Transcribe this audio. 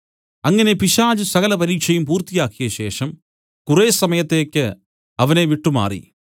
അങ്ങനെ പിശാച് സകല പരീക്ഷയും പൂർത്തിയാക്കിയ ശേഷം കുറെ സമയത്തേക്ക് അവനെ വിട്ടുമാറി